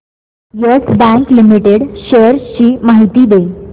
yes Bank Limited shares ची माहिती दे